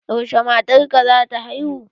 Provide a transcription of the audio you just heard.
Yaushe matar ka zata haihu?